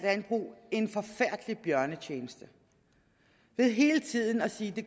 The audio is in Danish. landbrug en forfærdelig bjørnetjeneste ved hele tiden at sige at det